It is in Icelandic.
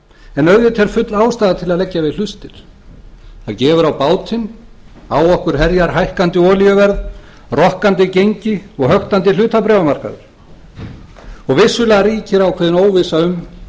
en auðvitað er full ástæða til að leggja við hlustir það gefur á bátinn á okkur herjar hækkandi olíuverð rokkandi gengi og höktandi hlutabréfamarkaður og vissulega ríkir ákveðin óvissa um